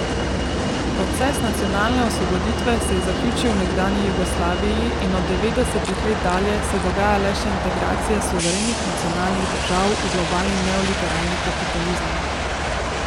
Proces nacionalne osvoboditve se je zaključil v nekdanji Jugoslaviji in od devetdesetih let dalje se dogaja le še integracija suverenih, nacionalnih držav v globalni neoliberalni kapitalizem.